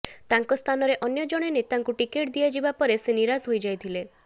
ତାଙ୍କ ସ୍ଥାନରେ ଅନ୍ୟ ଜଣେ ନେତାଙ୍କୁ ଟିକେଟ୍ ଦିଆଯିବା ପରେ ସେ ନିରାଶ ହୋଇ ଯାଇଥିଲେ